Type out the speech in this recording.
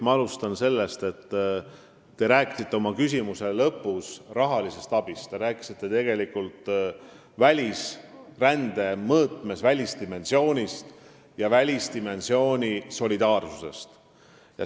Ma alustan sellest, et te rääkisite oma küsimuse lõpus rahalisest abist, te rääkisite rände välisdimensioonist ja välisdimensiooni solidaarsusest.